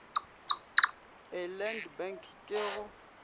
a land bank ke go